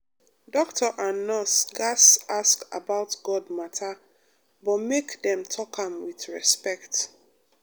doctor and nurse gatz ask about god matter but make dem talk am with respect.